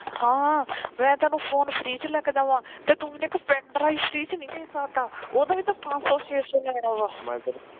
ਹਾਂ ਮੈ ਤੈਨੂੰ phone free ਚ ਲਿਆ ਕੇ ਦੇਵਾ ਤੇ ਤੂੰ ਮੈਨੂੰ ਇੱਕ pendrive free ਚ ਨਹੀ ਲੈ ਕੇ ਦੇ ਸਕਦਾ ਉਹਦਾ ਵੀ ਤਾਂ ਪੰਜ ਸੋ ਛੇ ਸੋ ਲੈਣਾ ਵਾ